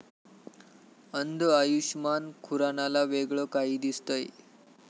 अंध आयुषमान खुरानाला वेगळं काही दिसतंय!